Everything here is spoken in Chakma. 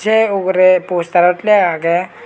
flego ugure postarot flego agey.